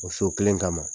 O so kelen kama